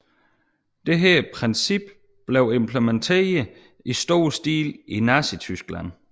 Dette princip blev implementeret i stor stil i Nazityskland